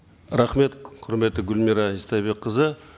рахмет құрметті гүлмира истайбекқызы